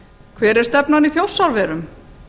hver er stefnan í þjórsárverum